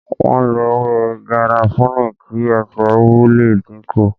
Wọn lo ewé garafuni kí ẹsẹ tó wu le dínkù